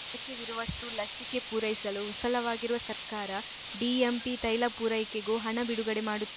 ಅಗತ್ಯವಿರುವಷ್ಟುಲಸಿಕೆ ಪೂರೈಸಲು ವಿಫಲವಾಗಿರುವ ಸರ್ಕಾರ ಡಿಎಂಪಿ ತೈಲ ಪೂರೈಕೆಗೂ ಹಣ ಬಿಡುಗಡೆ ಮಾಡುತ್ತಿ